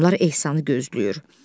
Adamlar ehsanı gözləyir.